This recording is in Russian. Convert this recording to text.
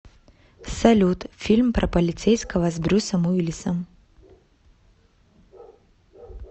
салют фильм про полицейского с брюсом уиллисом